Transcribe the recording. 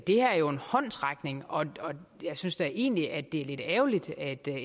det her er jo en håndsrækning og jeg synes da egentlig at det er lidt ærgerligt at